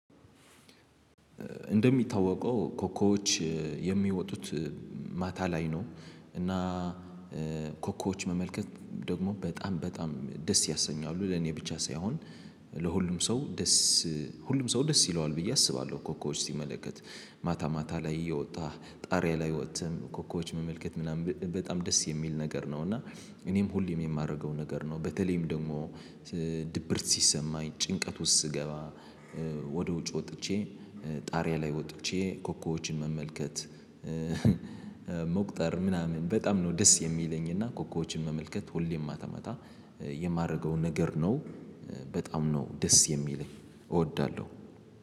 እንደሚታወቀው ኮከቦች የሚወጡት ማታ ላይ ነው። እና ኮከቦች መመልከት ደግሞ በጣም በጣም ደስ ያሰኛሉ ለኔ ብቻ ሳይሆን ለሁሉም ሰው ደስ ሁሉም ሰው ደስ ይለዋል ብዬ አስባለሁ። ኮከቦች ሲመለከት ማታ ማታ ላይ እየወጣህ ጣሪያ ላይ ወጥተህ ኮከቦችን መመልከት ምናምን በጣም ደስ የሚል ነገር ነው። እና እኔም ሁሌም የማደርገው ነገር ነው። በተለይም ደግሞ ድብርት ሲሰማኝ ጭንቀት ውስጥ ስገባ ወደ ውጭ ወጥቼ ጣሪያ ላይ ወጥቼ ኮኮቦችን መመልከት። መቁጠር ምናምን በጣም ነው ደስ የሚለኝ እና ኮከቦችን መመልከት ሁሌም ማታ ማታ የማደርገውን ነገር ነው። በጣም ነው ደስ የሚለኝ እወዳለሁ።